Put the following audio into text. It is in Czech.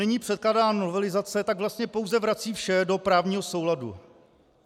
Nyní předkládaná novelizace tak vlastně pouze vrací vše do právního souladu.